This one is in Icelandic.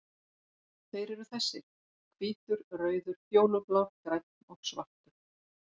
Þeir eru þessir: Hvítur, rauður, fjólublár, grænn og svartur.